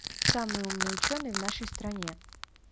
самый умный ученый в нашей стране